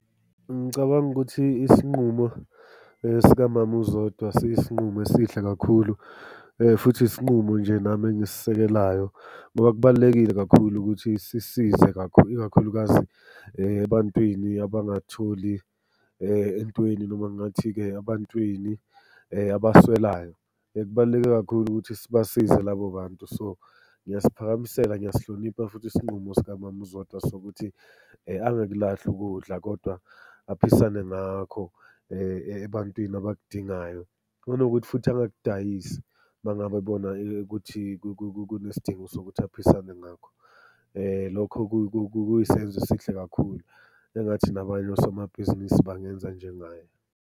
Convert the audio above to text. Ngicabanga ukuthi isinqumo sikamama uZodwa siyisinqumo esihle kakhulu, futhi isinqumo nje nami engisisekelayo, ngoba kubalulekile kakhulu ukuthi sisize ikakhulukazi ebantwini abangatholi entweni noma ngathi-ke ebantwini abaswelayo. Kubaluleke kakhulu ukuthi sibasize labo bantu so, ngiyasiphakamisela, ngiyasihlonipha futhi isinqumo sikamama uZodwa sokuthi angakulahli ukudla, kodwa aphisane ngakho ebantwini abakudingayo. Nanokuthi futhi angakudayisi uma ngabe ebona ukuthi kunesidingo sokuthi aphisane ngakho. Lokho kuyisenzo esihle kakhulu. Engathi nabanye osomabhizinisi bangenza njengaye.